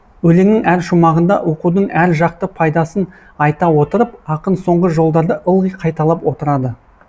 өлеңнің әр шумағында оқудың әр жақты пайдасын айта отырып ақын соңғы жолдарды ылғи қайталап отырады